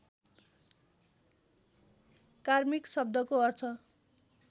कार्मिक शब्दको अर्थ